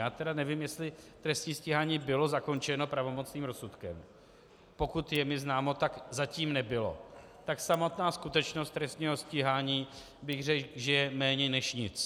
Já tedy nevím, jestli trestní stíhání bylo zakončeno pravomocným rozsudkem, pokud je mi známo, tak zatím nebylo, tak samotná skutečnost trestního stíhání, bych řekl, že je méně než nic.